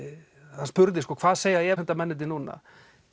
hann spurði hvað segja efasemdamennirnir núna